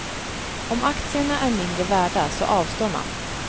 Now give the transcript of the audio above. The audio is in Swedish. Om aktierna är mindre värda så avstår man.